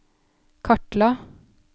kartla